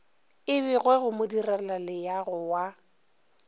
e begwe go modirelaleago wa